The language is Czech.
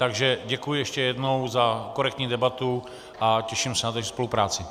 Takže děkuji ještě jednou za korektní debatu a těším se na další spolupráci.